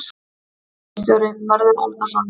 Ritstjóri: Mörður Árnason.